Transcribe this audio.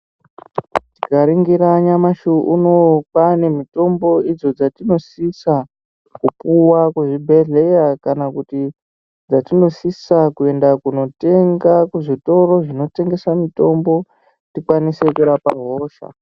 Tikaringira nyamashi unowu kwane mitombo idzo dzatinosisa kupuwa kuzvibhedhleya kana kuti dzatinosisa kuenda kunotenga kuzvitoro zvinotengesa mitombo tikwanisw kurapa hosha.